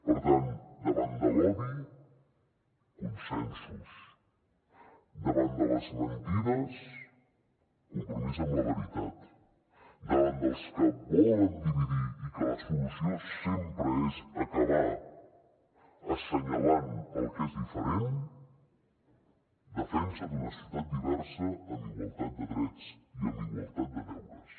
per tant davant de l’odi consensos davant de les mentides compromís amb la veritat davant dels que volen dividir i que la solució sempre és acabar assenyalant el que és diferent defensa d’una societat diversa amb igualtat de drets i amb igualtat de deures